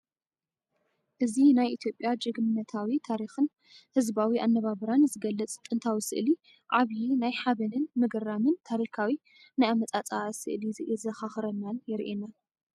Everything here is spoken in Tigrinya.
እዚ ናይ ኢትዮጵያ ጅግንነታዊ ታሪኽን ህዝባዊ ኣነባብራን ዝገልጽ ጥንታዊ ስእሊ፡ ዓቢይ ናይ ሓበንን ምግራምን ታሪካዊ ናይ ኣመፃፀኣ ስእሊ የዘኻኽረናን የሪኤናን!